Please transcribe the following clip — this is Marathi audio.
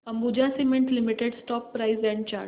Ambuja cement limited stock price and chart